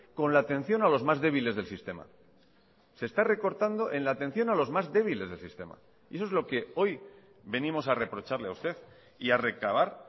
con la atención a los más débiles del sistema se está recortando en la atención a los más débiles del sistema y eso es lo que hoy venimos a reprocharle a usted y a recabar